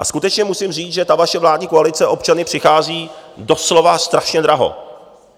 A skutečně musím říct, že ta vaše vládní koalice občany přichází doslova strašně draho.